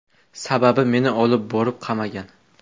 Sababi meni olib borib qamagan.